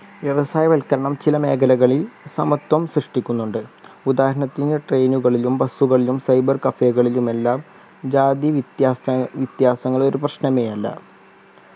വ്യവസായ വൽക്കരണം ചില മേഖലകളിൽ സമത്വം സൃഷ്ടിക്കുന്നുണ്ട് ഉദാഹരണത്തിന് train കളിലും bus കളിലും cyber cafe കളിലുമെല്ലാം ജാതി വിത്യാസ വിത്യാസങ്ങൾ ഒരു പ്രശ്‌നമേയല്ല